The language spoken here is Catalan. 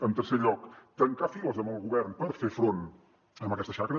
en tercer lloc tancar files amb el govern per fer front a aquesta xacra